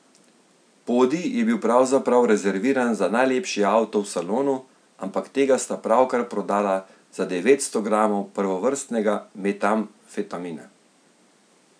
Podij je bil pravzaprav rezerviran za najlepši avto v salonu, ampak tega sta pravkar prodala za devetsto gramov prvovrstnega metamfetamina.